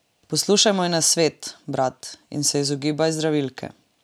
Poslušaj moj nasvet, brat, in se izogibaj zdravilke.